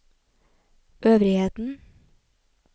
øvrigheten